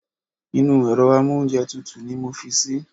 Inú èro amóúnjetutù ni mo fi sí